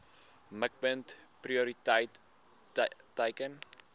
mikpunt prioriteit teiken